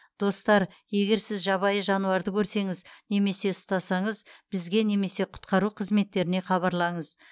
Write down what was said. достар егер сіз жабайы жануарды көрсеңіз немесе ұстасаңыз бізге немесе құтқару қызметтеріне хабарлаңыз